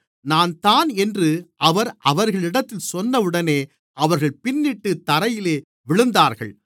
நான்தான் என்று அவர் அவர்களிடத்தில் சொன்னவுடனே அவர்கள் பின்னிட்டுத் தரையிலே விழுந்தார்கள்